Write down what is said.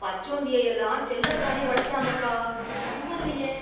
பச்சோந்தியெல்லாம் செல்லப்பிராணியா வளர்க்குறாங்கப்பா, பரவாயில்லயே!